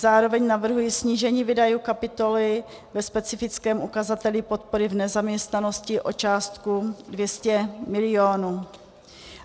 Zároveň navrhuji snížení výdajů kapitoly ve specifickém ukazateli podpory v nezaměstnanosti o částku 200 milionů.